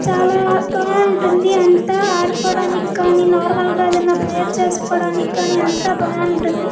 చాలా బాగుంటుంది అంతా ఆడుకోవడానికి కానీ నార్మల్ గ ఏదైనా ప్రేయర్ చేసుకోవడానికి కానీ అంత బాగుంటుంది.